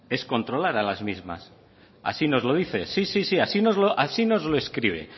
es controlar a las mismas así nos lo dice sí sí así nos lo escribe